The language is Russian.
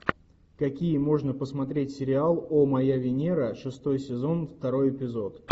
какие можно посмотреть сериал о моя венера шестой сезон второй эпизод